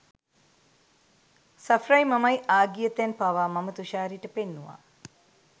සෆ්රයි මමයි ආ ගිය තැන් පවා මම තුෂාරිට පෙන්නුවා.